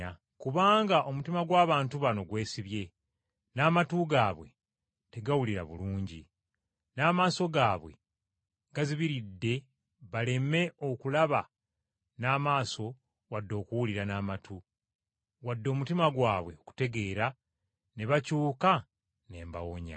Kubanga omutima gw’abantu bano gwesibye, n’amatu gaabwe tegawulira bulungi. N’amaaso gaabwe gazibiridde baleme okulaba n’amaaso wadde okuwulira n’amatu, wadde omutima gwabwe okutegeera, ne bakyuka ne mbawonya.’